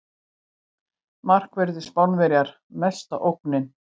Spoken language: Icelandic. Markverðir Spánar mesta ógnin